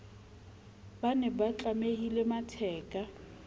ba ne ba tlamile matheka